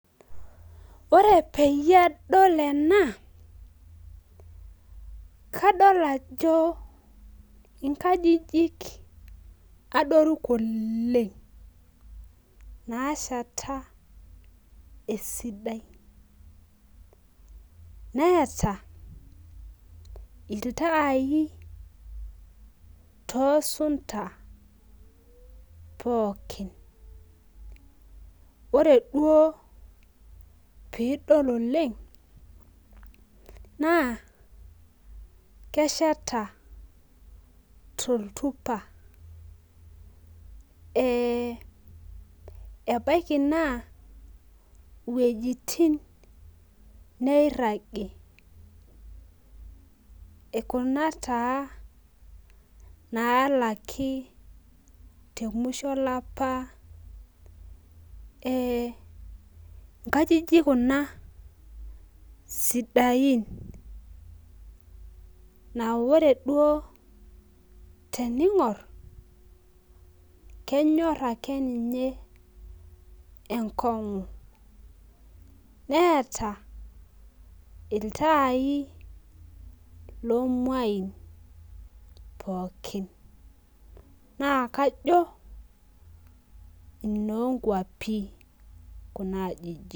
Ore peyie adol ena kadol Ajo nkajijik adoru oleng nasheta esidai Neeta ilntai too sunta pookin ore duo pee edol oleng naa kesheta too ltupa ebaiki naa wuejitin nirage Kuna taa nalaki temusho olapa nkajijik Kuna sidain na ore duo tening'or kenyor ake ninye enkongu Neeta ilntai loomuin pookin naa kajo enoo nkwapii Kuna ajijik